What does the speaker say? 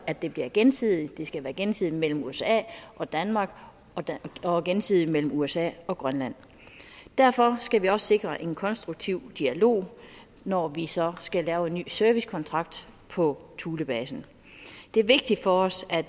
at det bliver gensidigt det skal være gensidigt mellem usa og danmark og gensidigt mellem usa og grønland derfor skal vi også sikre en konstruktiv dialog når vi så skal lave en ny servicekontrakt for thulebasen det er vigtigt for os at